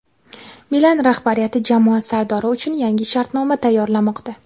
"Milan"rahbariyati jamoa sardori uchun yangi shartnoma tayyorlamoqda.